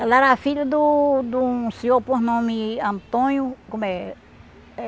Ela era filha do de um senhor com nome Antônio, como é?